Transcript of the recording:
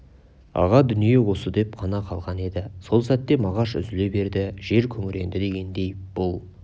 аға дүние осы деп қана қалған еді сол сәтте мағаш үзіле берді жер күңіренді дегендей бұл